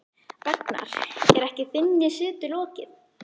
Ragnar, er ekki þinni setu lokið?